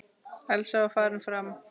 Elsa var farin fram.